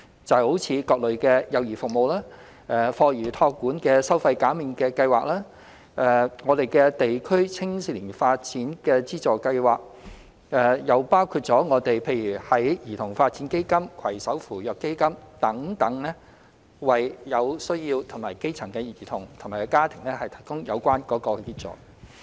例如各類幼兒服務、課餘託管收費減免計劃、地區青少年發展資助計劃，也包括兒童發展基金、攜手扶弱基金等，為有需要的基層兒童和家庭提供有關協助。